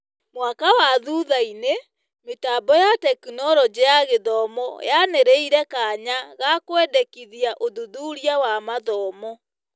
Mwaka wa thuthainĩ, Mĩtambo ya Tekinoronjĩ ya Gĩthomo yanĩrĩire kanya ga kwendekithia ũthuthuria wa mathomo.